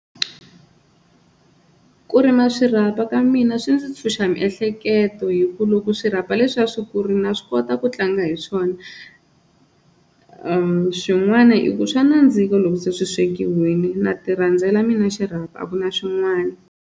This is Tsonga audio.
Ku rima swirhapa ka mina swi ndzi ntshuxa miehleketo hi ku loko swirhapa leswiya swi kurile na swi kota ku tlanga hi swona swin'wana i ku swa nandzika loko se swi swekiwini na ti rhandzela mina xirhapa a ku na swin'wana.